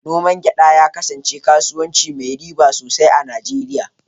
Noman gyada ya kasance kasuwanci mai riba sosai a Nijeriya.